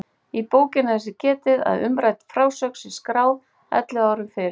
Í bókinni er þess getið að umrædd frásögn sé skráð ellefu árum fyrr.